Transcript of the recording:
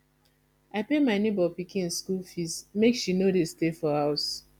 i pay my nebor pikin skool fees make she no dey stay for house